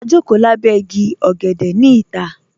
Ā jọkò làbẹ̀ ìgí ọ̀gẹ̀dẹ̀ ni ìtà.